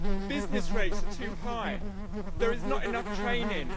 business rates are too high there is not enough training